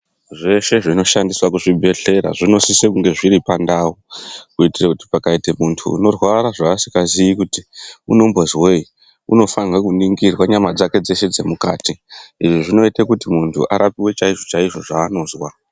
Zveshe zvinoshandiswa kuzvibhedhlera zvinosise kunge zviripandao kuitire kuti pakaite muntu unorwara zvavasikazivi kuti unombonzwei unofana kuningirwa nyama dzake dzeshe dzemukati zvinoita kuti muntu arapwe chaizvo chaizvo zvaanozwa .